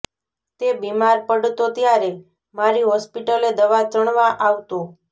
તે બીમાર પડતો ત્યારે મારી હોસ્પિટલે દવા ચણવા આવતો